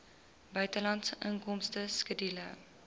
buitelandse inkomste skedule